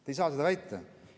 Te ei saa seda väita.